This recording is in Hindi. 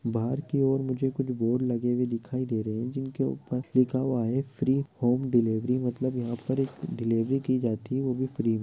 बाहर की ओर मुझे कुछ बोर्ड लगे हुए दिखाई दे रहे है जिनके ऊपर लिखा हुआ है फ्री होम डिलीवरी मतलब यह पर एक डिलीवरी की जाती होगी फ्री मे।